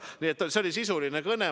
Nii et see oli sisuline kõne.